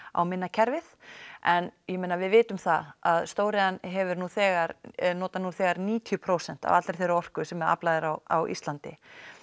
á minna kerfið en ég meina við vitum það að stóriðjan hefur nú þegar notar nú þegar níutíu prósent af allri þeirri orku sem aflað er á á Íslandi